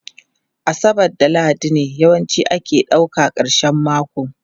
Asabar da Lahadi ne yawanci ake ɗauka karshen mako